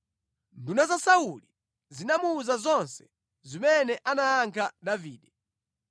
Nduna za Sauli zinamuwuza zonse zimene anayankha Davide.